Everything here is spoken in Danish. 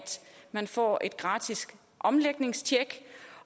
man kan få et gratis omlægningstjek